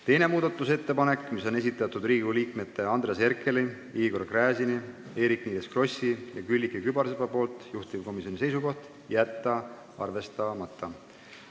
Teine muudatusettepanek, mille on esitanud Riigikogu liikmed Andres Herkel, Igor Gräzin, Eerik-Niiles Kross ja Külliki Kübarsepp, juhtivkomisjoni seisukoht: jätta arvestamata.